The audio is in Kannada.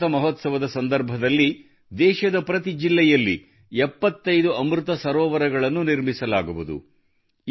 ಅಮೃತ ಮಹೋತ್ಸವದ ಸಂದರ್ಭದಲ್ಲಿ ದೇಶದ ಪ್ರತಿ ಜಿಲ್ಲೆಯಲ್ಲಿ 75 ಅಮೃತ ಸರೋವರಗಳನ್ನು ನಿರ್ಮಿಸಲಾಗುವುದು